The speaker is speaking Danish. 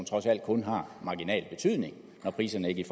trods alt kun har marginal betydning når priserne ikke i